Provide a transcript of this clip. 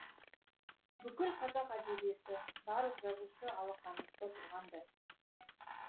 бүкіл қазақ әдебиеті барлық жазушы алақанымызда тұрғандай